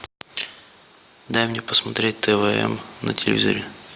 дай мне посмотреть тв м на телевизоре